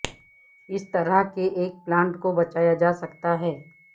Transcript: اس طرح کے ایک پلانٹ کو بچایا جا سکتا ہے